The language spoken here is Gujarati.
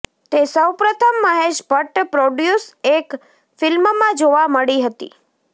તે સૌપ્રથમ મહેશ ભટ્ટ પ્રોડ્યુસ એક ફિલ્મમાં જોવા મળી હતી